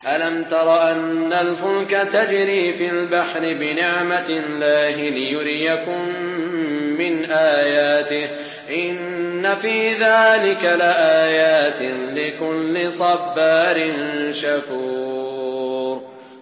أَلَمْ تَرَ أَنَّ الْفُلْكَ تَجْرِي فِي الْبَحْرِ بِنِعْمَتِ اللَّهِ لِيُرِيَكُم مِّنْ آيَاتِهِ ۚ إِنَّ فِي ذَٰلِكَ لَآيَاتٍ لِّكُلِّ صَبَّارٍ شَكُورٍ